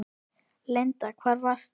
Linda: Hvar varstu?